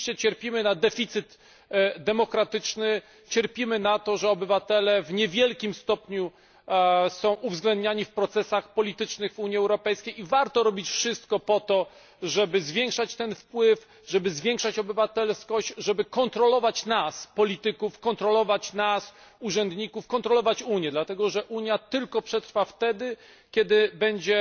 Rzeczywiście cierpimy na deficyt demokratyczny, cierpimy na to, że obywatele w niewielkim stopniu są uwzględniani w procesach politycznych Unii Europejskiej i warto robić wszystko po to, żeby zwiększać ten wpływ, żeby zwiększać obywatelskość, żeby kontrolować nas, polityków, kontrolować nas, urzędników, kontrolować Unię, dlatego że Unia przetrwa tylko wtedy, kiedy będzie